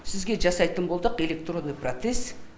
сізге жасайтын болдық электронный протез